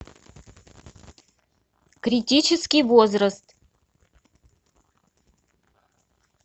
критический возраст